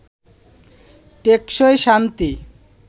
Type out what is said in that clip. টেকসই শান্তি